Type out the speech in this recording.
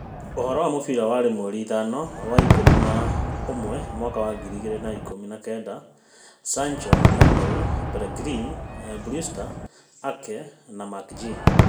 Ũhorō wa mũbira waĩrĩ mweri ithano wa-ikũmi na ũmwe Mwaka wa ngiri igĩrĩ na ikũmi na kenda Sancho, Emery, Pellegrini, Brewster, Ake, McGinn